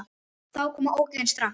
Þá koma ógeðin strax.